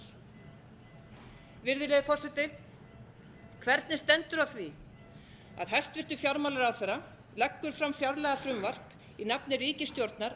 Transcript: vera mikil virðulegi forseti hvernig stendur á því að hæstvirtur fjármálaráðherra leggur fram fjárlagafrumvarp í nafni ríkisstjórnar